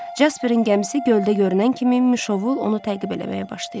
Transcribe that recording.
Casperin gəmisi göldə görünən kimi Mişovul onu təqib eləməyə başlayır.